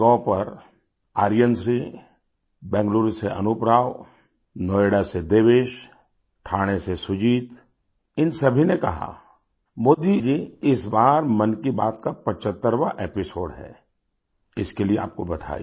MyGov पर आर्यन श्री बेंगलुरु से अनूप राव नोएडा से देवेश ठाणे से सुजीत इन सभी ने कहा मोदी जी इस बार मन की बात का 75वाँ एपिसोड है इसके लिए आपको बधाई